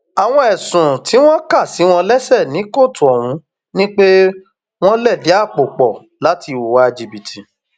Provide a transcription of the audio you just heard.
àwọn ẹsùn tí wọn kà sí wọn lẹsẹ ní kóòtù ọhún ni pé wọn lẹdí àpò pọ láti hùwà jìbìtì